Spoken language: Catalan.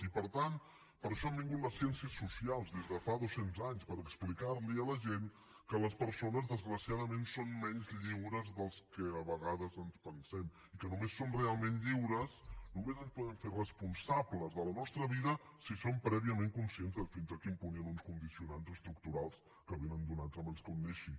i per tant per això han vingut les ciències socials des de fa dos cents anys per explicar li a la gent que les persones desgraciadament són menys lliures del que a vegades ens pensem i que només som realment lliures només ens podem fer responsables de la nostra vida si som prèviament conscients de fins a quin punt hi han uns condicionants estructurals que vénen donats abans que un neixi